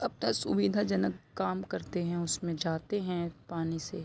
अपना सुविधा जनक काम करते है उसमे जाते है पानी से ।